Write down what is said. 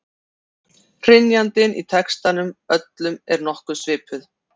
Hrynjandin í textunum öllum er nokkuð svipuð.